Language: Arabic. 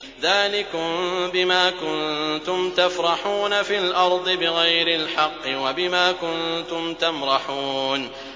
ذَٰلِكُم بِمَا كُنتُمْ تَفْرَحُونَ فِي الْأَرْضِ بِغَيْرِ الْحَقِّ وَبِمَا كُنتُمْ تَمْرَحُونَ